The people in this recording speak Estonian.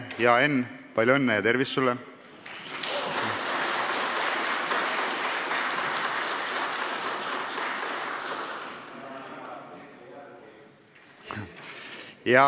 Hea Enn, palju õnne ja tervist sulle!